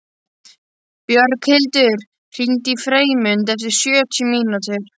Björghildur, hringdu í Freymund eftir sjötíu mínútur.